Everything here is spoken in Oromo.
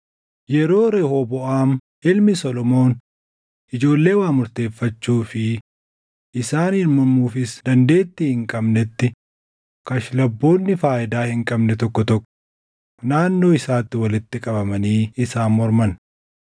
Yeroo Rehooboʼaam ilmi Solomoon ijoollee waa murteeffachuu fi isaaniin mormuufis dandeettii hin qabneetti kashlabboonni faayidaa hin qabne tokko tokko naannoo isaatti walitti qabamanii isaan morman.